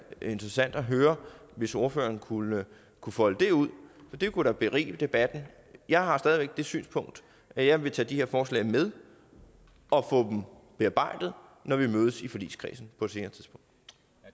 interessant at høre hvis ordføreren kunne kunne folde det ud for det kunne da berige debatten jeg har stadig væk det synspunkt at jeg vil tage de her forslag med og få dem bearbejdet når vi mødes i forligskredsen